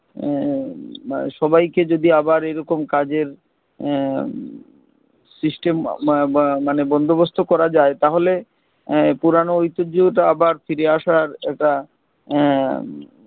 আহ মান সবাই কে যদি আবার এইরকম কাজের আহ system ব ব মানে বন্দোবস্ত করা যায় তাহলে পুরানো ঐতিহ্যটা আবার ফিরে আসার এটা আহ